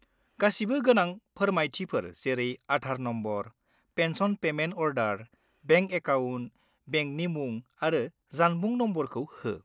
गासिबो गोनां फोरमायथिफोर जेरै Aadhaar number, pension payment order, bank account, बेंकनि मुं आरो जानबुं नम्बरखौ हो।